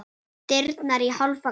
Dyrnar í hálfa gátt.